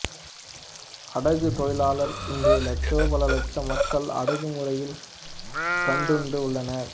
அடகு தொழிலாளர் இன்று லட்சோபலட்சம் மக்கள் அடகு முறையில் கட்டுண்டு உள்ளனர்